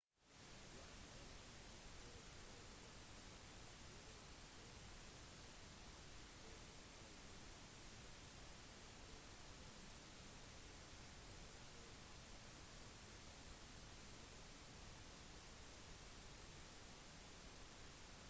guvernøren uttalte også: «vi har i dag fått vite at det har blitt identifisert noen barn i skolealder som har vært i kontakt med pasienten»